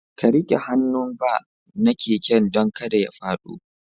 Ka rike hannun bar na keken dan kada ya fado.